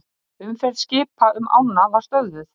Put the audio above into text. Umferð skipa um ána var stöðvuð